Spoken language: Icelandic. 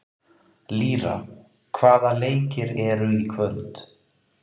Lýra, hvaða leikir eru í kvöld?